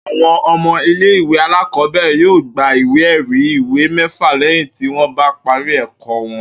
Àwo̩n o̩mo̩ ilé ìwé alákò̩ó̩bè̩rè̩ yóò gba ìwé è̩rí ìwé mé̩fà lé̩yìn tí wó̩n bá parí è̩kó̩ wo̩n